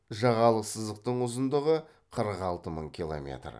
жағалық сызықтың ұзындығы қырық алты мың километр